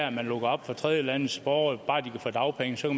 at man lukker op for tredjelandes borgere og bare de kan få dagpenge så